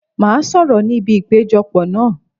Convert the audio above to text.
Màá sọ̀rọ̀ ní ibi ìpéjọ pọ̀ náà.